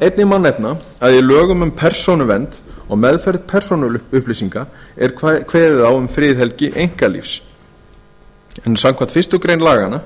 einnig má nefna að í lögum um persónuvernd og meðferð persónuupplýsinga er kveðið á um friðhelgi einkalífs en samkvæmt fyrstu grein laganna